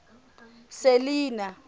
selinah